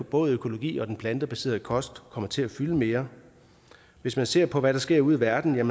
både økologi og den plantebaserede kost kommer til at fylde mere hvis man ser på hvad der sker ude i verden i